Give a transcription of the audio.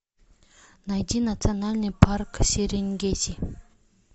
найди национальный парк серенгети